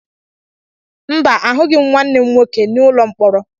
Mba, ahụghị m nwanne m nwoke n'ụlọ mkpọrọ